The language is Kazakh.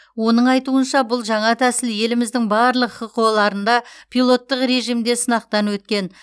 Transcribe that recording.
оның айтуынша бұл жаңа тәсіл еліміздің барлық хқо ларында пилоттық режимде сынақтан өткен